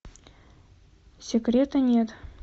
секрета нет